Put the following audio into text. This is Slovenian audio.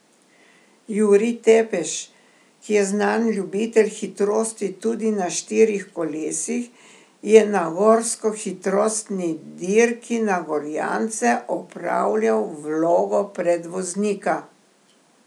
Jurij Tepeš, ki je znan ljubitelj hitrosti tudi na štirih kolesih, je na gorskohitrostni dirki na Gorjance opravljal vlogo predvoznika.